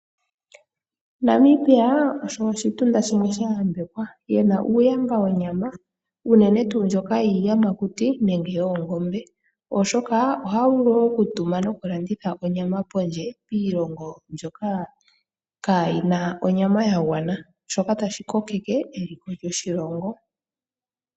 Namibia osho oshitunda shimwe sha yambekwa ye na uuyamba wonyama unene tuu ndjoka yiiyamakuti nenge yoongombe, oshoka ohaya vulu okutuma nokulanditha onyama pondje yiilongo mbyoka kaayi na onyama ya gwana. Shika otashi kokeke eliko lyoshilongo.